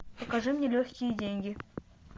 покажи мне легкие деньги